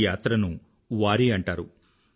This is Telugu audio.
ఈ యాత్రను వారీ అంటారు